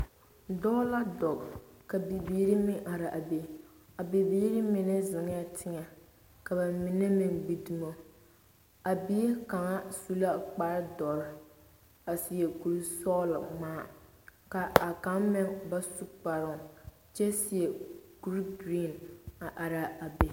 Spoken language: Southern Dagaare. Doɔ la duɔ ka bibiiri meng a arẽ a bɛ bibiiri menga zengaa tenga ka ba mena meng gbi dumo a bibile kanga su la kpare dɔri a seɛ kuri suglɔ ka a kang meng ba su kparoo kye seɛ kuri green a arẽ a bɛ.